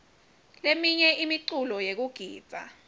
leminye imiculo yekugidza